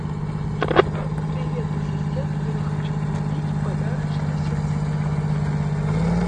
привет ассистент я хочу купить подарочный сертификат